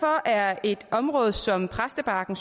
er et område som præstebakken